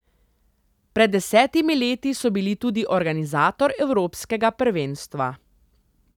Pred desetimi leti so bili tudi organizator evropskega prvenstva.